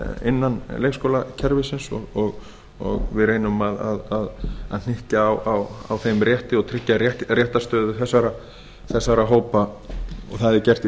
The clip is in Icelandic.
innan leikskólakerfisins og við reynum að hnykkja á þeim rétti og tryggja réttarstöðu þessara hópa og það er gert í